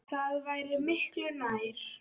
Það væri miklu nær.